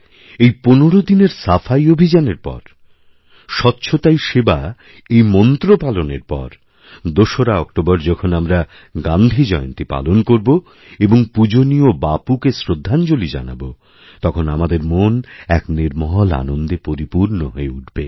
এই পনের দিনেরসাফাই অভিযানের পর স্বচ্ছতাই সেবা এই মন্ত্র পালনের পর দোসরা অক্টোবর যখন আমরাগান্ধীজয়ন্তী পালন করব এবং পূজনীয় বাপুকে শ্রদ্ধাঞ্জলি জানাব তখন আমাদের মন একনির্মল আনন্দে পরিপূর্ণ হয়ে উঠবে